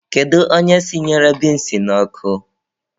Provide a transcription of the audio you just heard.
Kedu onye sinyere binsi n'ọkụ?